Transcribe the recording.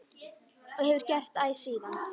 Og hefur gert æ síðan.